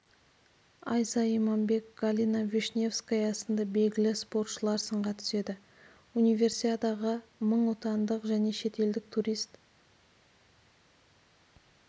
айза иманбек галина вишневская сынды белгілі спортшылар сынға түседі универсиадаға мың отандық және шетелдік турист